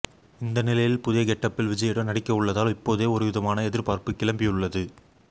இந்த நிலையில் புதிய கெட்டப்பில் விஜயுடன் நடிக்க உள்ளதால் இப்போதே ஒருவிதமான எதிர்பார்ப்பு கிளம்பி உள்ளது